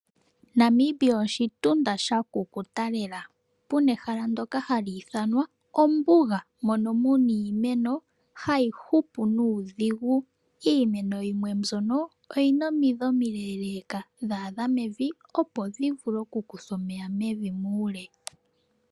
Namibia oshitunda sha kukuta lela, puna ehala ndyoka hali ithanwa ombuga, moka muna iimeno hayi hupu nuudhigu. Iimeno yimwe mbyoka yina omidhi omile leeka dha adha mevi, opo dhi vule oku kutha omeya muule.